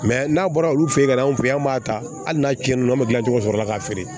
n'a bɔra olu fe yen ka na anw fe yen an b'a ta hali n'a cɛn na an be gilan cogo sɔrɔ k'a feere